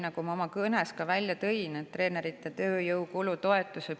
Ma ka oma kõnes tõin välja treeneri tööjõukulu toetuse.